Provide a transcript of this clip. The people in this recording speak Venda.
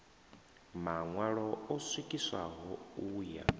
maṋwalo o swikiswaho u ya